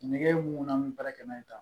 Nɛgɛ mun na an bɛ baara kɛ n'a ye